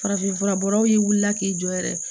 Farafinfura bɔbagaw ye wulila k'i jɔ yɛrɛ